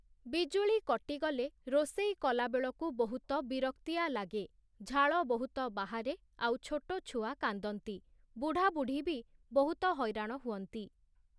ବିଜୁଳି କଟିଗଲେ, ରୋଷେଇ କଲାବେଳକୁ ବହୁତ ବିରକ୍ତିଆ ଲାଗେ, ଝାଳ ବହୁତ ବାହାରେ ଆଉ ଛୋଟ ଛୁଆ କାନ୍ଦନ୍ତି, ବୁଢ଼ାବୁଢ଼ୀ ବି ବହୁତ ହଇରାଣ ହୁଅନ୍ତି ।